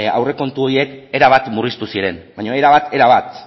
aurrekontu horiek erabat murriztu ziren baina erabat erabat